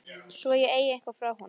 Svo ég eigi eitthvað frá honum.